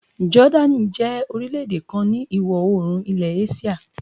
Jordan jẹ́ orílẹ̀ èdè kan ni ìwọ̀ oòrùn ilẹ̀ Asia.